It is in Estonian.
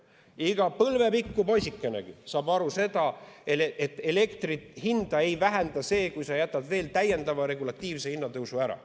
Iga põlvepikku poisikegi saab aru, et elektri hinda ei vähenda see, kui sa jätad täiendava regulatiivse hinnatõusu ära.